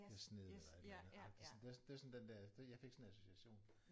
Det har sneet eller et eller andet agtigt sådan det er også det var sådan den der det jeg fik sådan en association